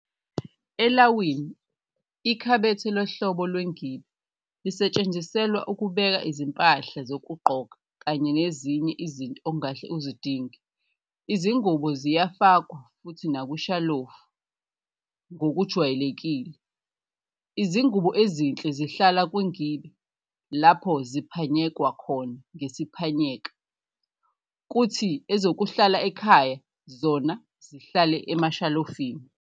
Elawini, ikhabethe lohlobo lwengibe lisetshenziselwa ukubeka izimpahla zokugqoka kanye nezinye izinto ongahle uzidinge. Izingubo ziyafakwa futhi nakwishalofu. Ngokujwayelekile, izingubo ezinhle zihlala kwingibe lapho ziphanyekwa khona ngesiphanyeka, kuthi ezokuhlala ekhaya zona zihlale emashalofini.